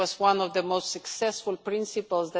This was one of the most successful principles.